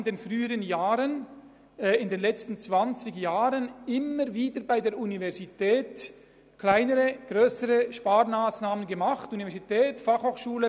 Wir haben in den letzten 20 Jahren immer wieder kleinere oder grössere Sparmassnahmen bei der Universität umgesetzt.